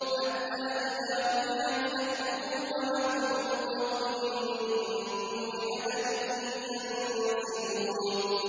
حَتَّىٰ إِذَا فُتِحَتْ يَأْجُوجُ وَمَأْجُوجُ وَهُم مِّن كُلِّ حَدَبٍ يَنسِلُونَ